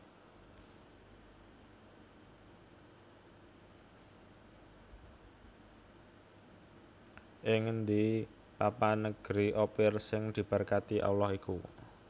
Ing ngendi papan negeri Ophir sing diberkati Allah iku